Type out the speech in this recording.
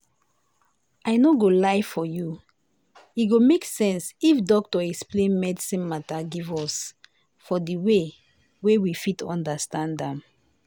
i no go lie for you e go make sense if doctor explain medicine mata give us for de way wey we fit understand am.